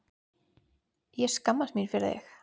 Ég skammast mín fyrir þig.